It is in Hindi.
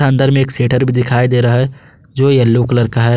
अंदर में शेटर भी दिखाई दे रहा है जो येलो कलर का है।